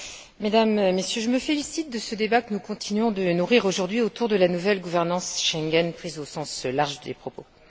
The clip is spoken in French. Monsieur le Président, Mesdames et Messieurs, je me félicite de ce débat que nous continuons de nourrir aujourd'hui autour de la nouvelle gouvernance Schengen prise au sens large des propos.